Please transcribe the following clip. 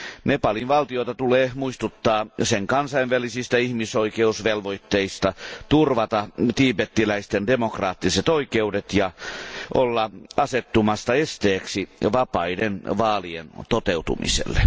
Nepalin valtiota tulee muistuttaa sen kansainvälisistä ihmisoikeusvelvoitteista turvata tiibetiläisten demokraattiset oikeudet ja olla asettumatta esteeksi vapaiden vaalien toteutumiselle.